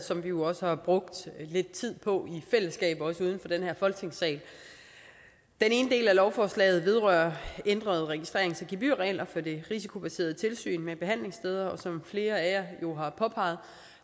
som vi jo også har brugt lidt tid på i fællesskab også uden den her folketingssal den ene del af lovforslaget vedrører ændrede registrerings og gebyrregler for det risikobaserede tilsyn med behandlingssteder som flere af jer jo har påpeget